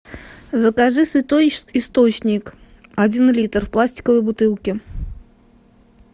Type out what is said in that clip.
закажи святой источник один литр в пластиковой бутылке